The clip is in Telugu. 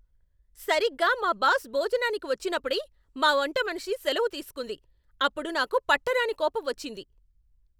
సరిగ్గా మా బాస్ భోజనానికి వచ్చినప్పుడే మా వంటమనిషి సెలవు తీసుకుంది. అప్పుడు నాకు పట్టరానికోపం వచ్చింది!